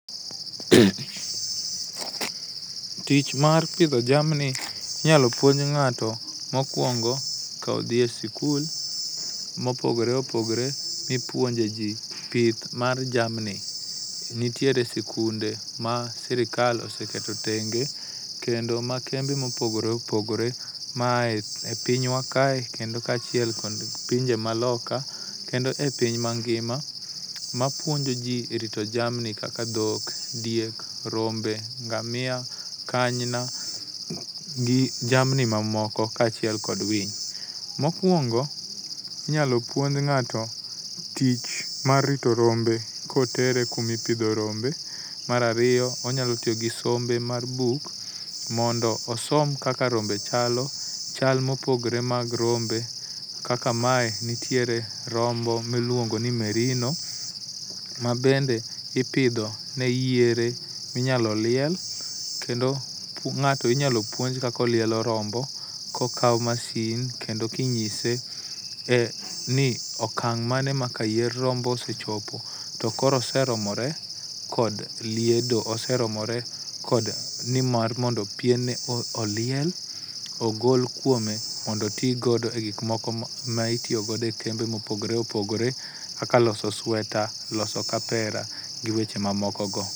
Tich mar pidho jamni inyalo puonj ng'ato mokuongo ka odhi e sikul mopogore opogore mipuonje ji pith m ar jamni. Nitiere sikunde ma sirikalm oseketo tenge kendo ma kembe mopogore opogore maaye pinywa kaye kendo kaachiel kod pinje maloka kendo epiny mangima mapuonjoji erito jamni kaka dhok, diek, rombe, ngamia , kanyna, gi jamni mamoko kaachiel kod winy. Mokuongo inyalo puonj ng'ato tich mar rito rombe kotere kuma ipidhe rombe. Mar ariyo onyalo tiyo gi sombe mar buk mondo osom kaka rombe chalo, chal mopogore mag rombe kaka mae nitiere rombo miluongo ni Merino ma bende ipidho ne yiere minyalo liel kendo ng'ato inyalo puonj kaka olielo rombo kokawo masin kendo ka inyiese e ni ok okang' mane maka yier rombo sechopo to koro oseromore kod liedo oseromore kod nimar mondo piene oliel ogol kuome mondo oti godo e gik moko maitiyo godo e kembe mopogore opogore kaka loso sweta, loso kaera gi weche mamokogo.